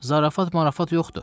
Zarafat-mərafat yoxdur.